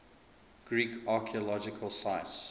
greek archaeological sites